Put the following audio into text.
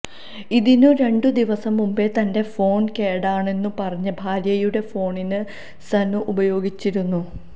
ഇതിന് രണ്ടു ദിവസം മുമ്പേ തന്റെ ഫോൺ കേടാണെന്നു പറഞ്ഞ് ഭാര്യയുടെ ഫോണാണ് സനു ഉപയോഗിച്ചിരുന്നത്